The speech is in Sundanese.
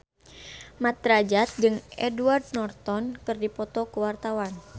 Mat Drajat jeung Edward Norton keur dipoto ku wartawan